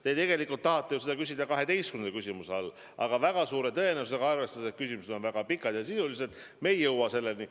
Te ju tegelikult tahtsite seda küsida 12. küsimuse all, aga väga suure tõenäosusega, arvestades, et küsimused on väga pikad ja sisulised, me ei jõua selleni.